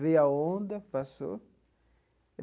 Veio a onda, passou.